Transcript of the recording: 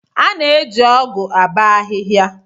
A na-eji ọgụ abọ ahihia.